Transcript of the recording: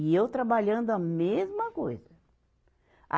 E eu trabalhando a mesma coisa. a